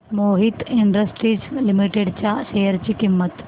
Mohit industries limited च्या share ची किंमत